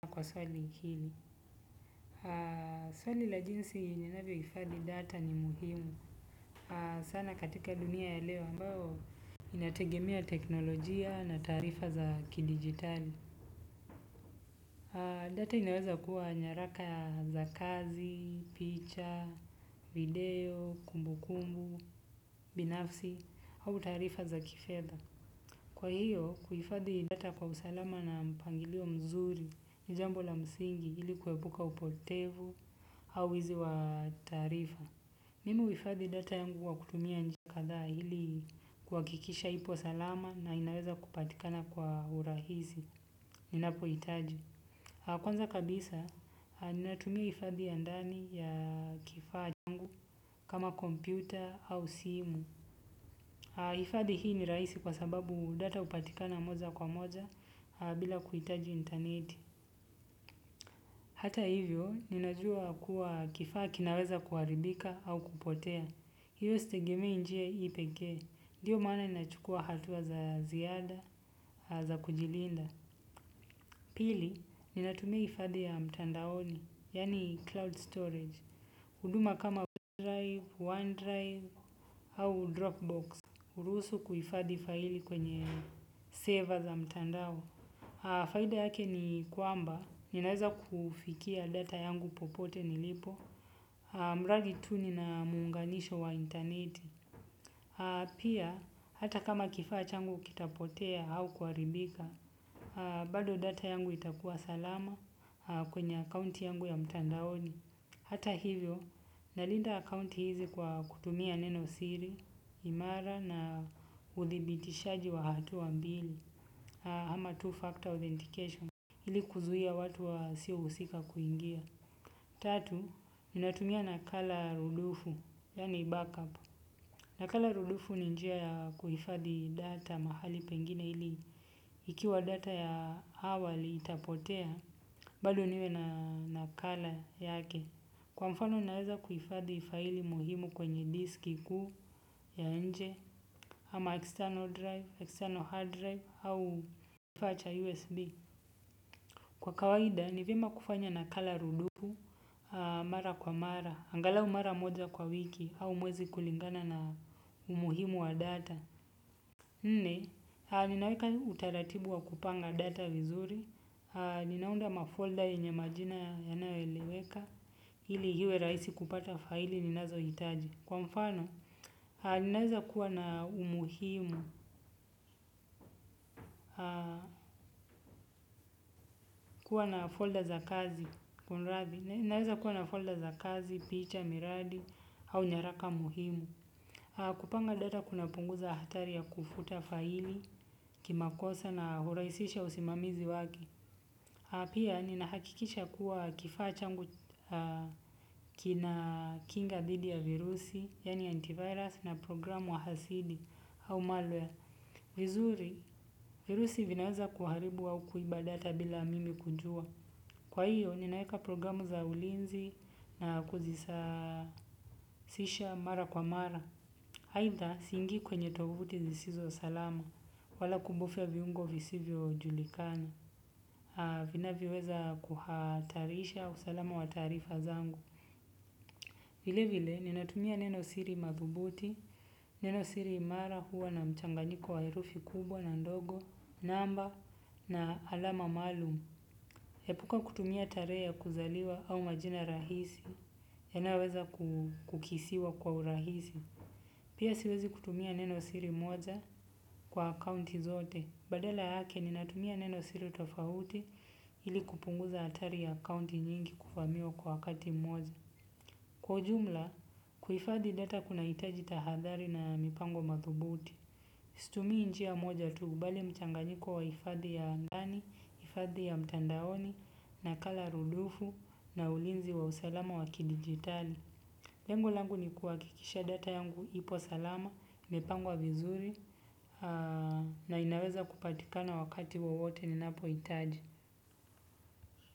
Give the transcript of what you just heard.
Kwa swali hili. Swali la jinsi yenye navyo hifadhi data ni muhimu. Sana katika dunia la leo ambayo inategemea teknologia na taarifa za kidijitali. Data inaweza kuwa nyaraka za kazi, picha, video, kumbu kumbu, binafsi, au tarifa za kifedha. Kwa hiyo, kuifadhi data kwa usalama na mpangilio mzuri ni jambo la msingi ilikuebuka upotevu. Au wizi wa taarifa. Mimi huifadhi data yangu kwa kutumia njia kadhaa hili kuwakikisha ipo salama na inaweza kupatikana kwa urahisi. Ninapo itaji. Kwanza kabisa, natumia ifadhi ya ndani ya kifadhi yangu kama kompyuta au simu. Ifadhi hii ni raisi kwa sababu data upatikana moja kwa moja bila kuitaji interneti. Hata hivyo, ninajua kuwa kifaa kinaweza kuaribika au kupotea. Hiyo stegemei njia hii pekee, ndiyo maana ninachukua hatua za ziada, za kujilinda. Pili, ninatumia ifadhi ya mtandaoni, yani cloud storage. Huduma kama OneDrive, OneDrive, au Dropbox. Urusu kuifadhi faili kwenye sever za mtandao. Faida yake ni kwamba, ninaweza kufikia data yangu popote nilipo. Mradi tu ni na muunganisho wa interneti. Pia, hata kama kifaa changu kitapotea au kuaribika, bado data yangu itakuwa salama kwenye account yangu ya mtandaoni. Hata hivyo, nalinda account hizi kwa kutumia neno siri, imara na uthibitishaji wa hatua mbili, hama two-factor authentication, ili kuzuia watu wa siusika kuingia. Tatu, ninatumia nakala rudufu, yani backup. Nakala rudufu ni njia ya kuhifadhi data mahali pengine ili ikiwa data ya awali itapotea, bado niwe na nakala yake. Kwa mfano naeza kuhifadhi faili muhimu kwenye diski kuu ya nje, ama external drive, external hard drive, au kifaa cha USB. Kwa kawaida ni vyema kufanya nakala rudufu mara kwa mara. Angalau mara moja kwa wiki au mwezi kulingana na umuhimu wa data. Nne, ninaweka utaratibu wa kupanga data vizuri. Ninaunda mafolder yenye majina yanayoeleweka ili hiwe raisi kupata faili ninazohitaji. Kwa mfano, ninaweza kuwa na umuhimu, kuwa na folder za kazi picha, miradi, au nyaraka muhimu. Kupanga data kuna punguza hatari ya kufuta faili, kimakosa na huraisisha usimamizi wake. Pia, ninahakikisha kuwa kifaa changu kina kinga dhidi ya virusi, yani antivirus na programu hasidi, au malware. Vizuri virusi vinaweza kuharibu au kuiba data bila mimi kujua. Kwa hiyo ninaeka programu za ulinzi na kuzisasisha mara kwa mara aitha singii kwenye tovuti zisizo salama wala kubofia viungo visivyo julikana. Vinavyoweza kuhatarisha usalama wa taarifa zangu. Vile vile ninatumia neno siri madhubuti. Neno siri imara huwa na mchanganyiko wa herufi kubwa na ndogo namba na alama malumu epuka kutumia taree ya kuzaliwa au majina rahisi yanayoweza kukisiwa kwa urahisi pia siwezi kutumia neno siri moja kwa akounti zote badala yake ninatumia neno siri tofauti ili kupunguza atari ya akounti nyingi kuvamiwa kwa wakati mmoja kwa ujumla, kuifadhi data kunaitaji tahadhari na mipango mathubuti. Stumii njia moja tuu bali mchanganyiko wa ifadhi ya angani, ifadhi ya mtandaoni, nakala rudufu, na ulinzi wa usalama wa kidigitali. Lengo langu ni kuwakikisha data yangu ipo salama, imepangwa vizuri, na inaweza kupatikana wakati wowote ninapoitaji.